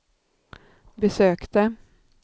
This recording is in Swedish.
besökte